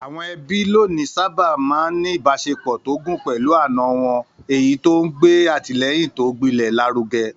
Àwọn ẹbí lónìí sáábà ń ní ìbáṣepọ̀ tó gún pẹ̀lú àna wọn, èyí tó ń gbé àtìlẹ́yìn tó gbilẹ̀ lárugẹ.